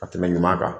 Ka tɛmɛ ɲuman kan